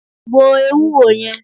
2. Gbo Ewúro yẹn.